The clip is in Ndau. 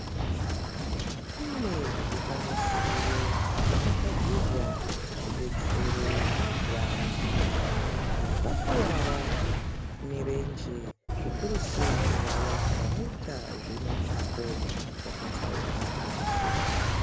Kune zvikwanisiro zvakagadzirwa kuti zvidetsere vantu vanenge vakuwara mirenje zvikuru sei vaya vanoita zvemitambo yakatsaukana.